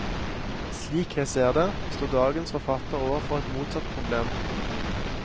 Slik jeg ser det, står dagens forfattere overfor et motsatt problem.